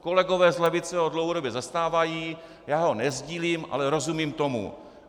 Kolegové z levice ho dlouhodobě zastávají, já ho nesdílím, ale rozumím tomu.